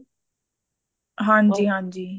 ਹਾਂਜੀ ਹਾਂਜੀ